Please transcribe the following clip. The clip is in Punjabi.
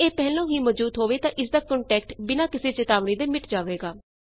ਜੇ ਇਹ ਪਹਿਲੋਂ ਹੀ ਮੌਜੂਦ ਹੋਵੇ ਤਾਂ ਇਸਦਾ ਕੰਨਟੈਂਟ ਬਿਨਾਂ ਕਿਸੇ ਚੇਤਾਵਨੀ ਦੇ ਮਿਟ ਜਾਵੇਗਾ